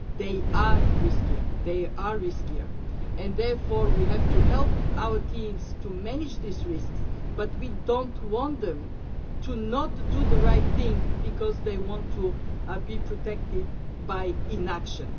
They are riskier, and therefore we have to help our teams to manage these risks. But we do not want them to not to do the right thing because they want to be protected by inaction.